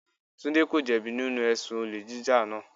Tunde ko jẹ bi nínú ẹ̀sùn olè jíjà náà.